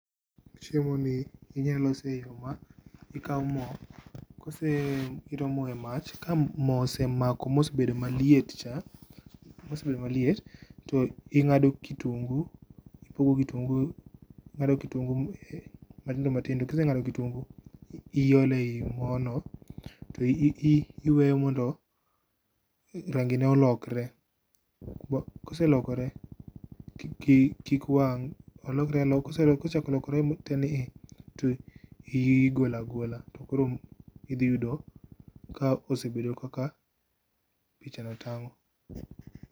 Chiemo ni inya lose e yoo ma, ikao moo, kose, iketo moo e mach. Ka moo osemako mobedo maliet cha, osebedo maliet to ing'ado kitungu, ipogo kitungu, ingado kitungu matindo matindo. Kiseng'ado kitungu tiolo ei moo no to iweyo mondo rangi ne olokre, koselokore kik wang, olokre aloka, kosechako lokre te ni, to igolo agola to koro idhi yudo ka osebedo kaka pichano tango